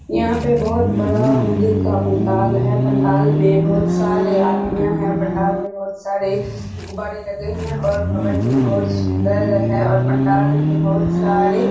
यहाँ पे बहोत बड़ा मंदिर का पंडाल है पंडाल में बहोत सारे आदमियां है पंडाल में बहोत सारे गुब्बारे लगे हैं और भवन भी बहोत सुन्दर है और पंडाल में बहोत सारे --